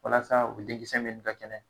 Walasa u denkisɛ minnu ka kɛnɛ